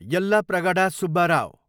Yellapragada Subbarao